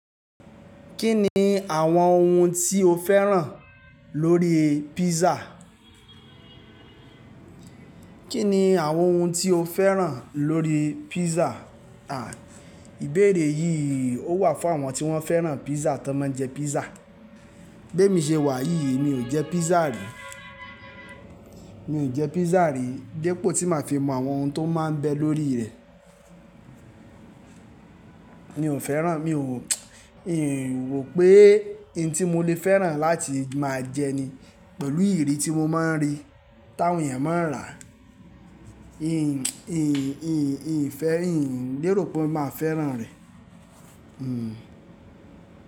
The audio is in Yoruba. Kí ni àwọn ohun tí o fẹ́ràn lórí pizza? Kí ni àwọn ohun tí o fẹ́ràn lórí pizza? Ha, ìbéèrè yìí ó wà fún àwọn tí wọ́n fẹ́ràn pizza tó máa ń jẹ pizza. Bé mi ṣe wà yíií mi ò jẹ pizza rí. Mi ò jẹ pizza rí, d'epọ̀ tí màá fi mọ àwọn ohun tó máa ń bẹ lórí rẹ̀. Mi ò fẹ́ràn, mi ò mi o ro pé ohun tí mo lè fẹ́ràn láti máa jẹ ni pẹ̀lú ìrí tí mo máa ń rí táwọn èèyàn máa rà á. Mi ò fẹ́ ri, mi ò lérò pé mo máa fẹ́ràn rẹ̀.